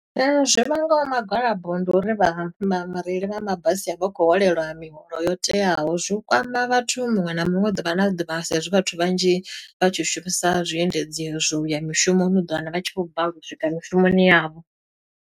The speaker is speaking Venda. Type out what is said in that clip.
Zwi vhangaho magalabo ndi uri vha vha vhareili vha mabasi a vha khou holeliwa miholo yo teaho zwi u kwama vhathu muṅwe na muṅwe, ḓuvha na ḓuvha, sa i zwi vhathu vhanzhi vha tshi shumisa zwiendedzi i zwi u ya mishumoni. U ḓo wana vha tshi khou balelwa u swika mishumoni yavho.